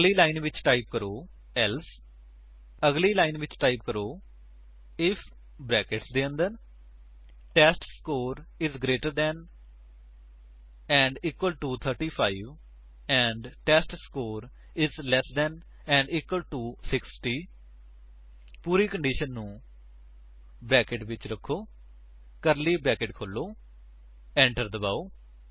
ਅਗਲੀ ਲਾਈਨ ਵਿੱਚ ਟਾਈਪ ਕਰੋ ਏਲਸੇ ਅਗਲੀ ਲਾਈਨ ਵਿੱਚ ਟਾਈਪ ਕਰੋ ਆਈਐਫ ਬਰੈਕੇਟਸ ਦੇ ਅੰਦਰ ਟੈਸਟਸਕੋਰ ਇਜ ਗਰੇਟਰ ਦੇਨ ਅਤੇ equal to 35 and test score is less than ਅਤੇ ਇਕਵਲ ਟੂ 60 ਪੂਰੀ ਕੰਡੀਸ਼ਨ ਨੂੰ ਬਰੈਕੇਟਸ ਵਿੱਚ ਰੱਖੋ ਕਰਲੀ ਬਰੈਕੇਟ ਖੋਲੋ ਏੰਟਰ ਦਬਾਓ